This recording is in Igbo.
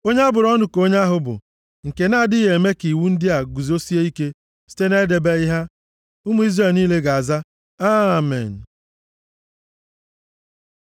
“Onye a bụrụ ọnụ ka onye ahụ bụ, nke na-adịghị eme ka iwu ndị a guzosie ike site na-edebeghị ha.” Ụmụ Izrel niile ga-aza, “Amen.”